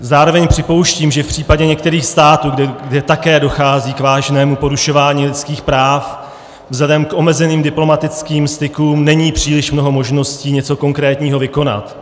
Zároveň připouštím, že v případě některých států, kde také dochází k vážnému porušování lidských práv, vzhledem k omezeným diplomatickým stykům není příliš mnoho možností něco konkrétního vykonat.